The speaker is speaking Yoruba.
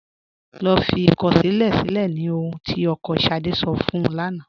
Lọ́ fí ikọ̀ṣílẹ̀ silẹ̀ ní ọ̀hun tí ọkọ́ Ṣádé sọ̀ fún ún lána.